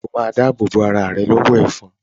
O ma dáàbò bo arà rẹ lọ́wọ́ “ ẹ̀fọn”.